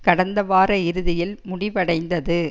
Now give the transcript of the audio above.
கடந்தவார இறுதியில் முடிவடைந்தது